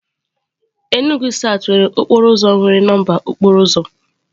N'Enugwu south nwere okporo ụzọ nwere nọmba okporo ụzọ.